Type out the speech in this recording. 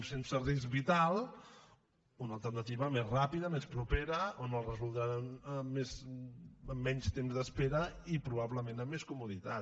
sense risc vital una alternativa més ràpida més propera on ho resoldran amb menys temps d’espera i probablement amb més comoditat